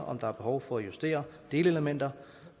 om der er behov for at justere delelementer